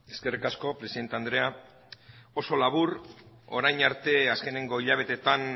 eskerrik asko presidente andrea oso labur orain arte azkeneko hilabetetan